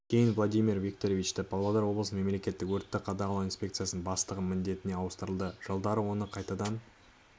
кейін владимир викторовичті павлодар облысының мемлекеттік өртті қадағалау инспекциясының бастығы міндетіне ауыстырылды жылдары оны қайтадан